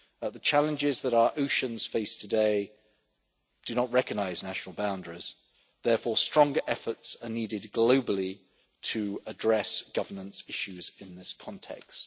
The challenges that our oceans face today do not recognise national boundaries, therefore stronger efforts are needed globally to address governance issues in this context.